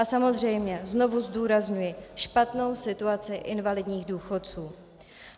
A samozřejmě znovu zdůrazňuji špatnou situaci invalidních důchodců.